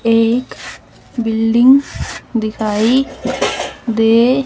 एक बिल्डिंग दिखाई दे--